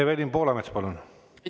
Evelin Poolamets, palun!